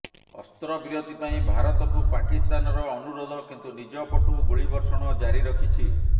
ଅସ୍ତ୍ରବିରତି ପାଇଁ ଭାରତକୁ ପାକିସ୍ତାନର ଅନୁରୋଧ କିନ୍ତୁ ନିଜ ପଟୁ ଗୁଳିବର୍ଷଣ ଜାରି ରଖିଛି